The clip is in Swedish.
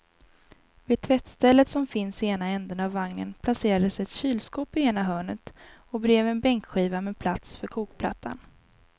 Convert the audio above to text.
Vid tvättstället som finns i ena ändan av vagnen placerades ett kylskåp i ena hörnet och bredvid en bänkskiva med plats för kokplattan.